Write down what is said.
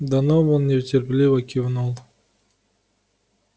донован нетерпеливо кивнул